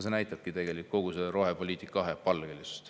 See näitab tegelikult kogu rohepoliitika kahepalgelisust.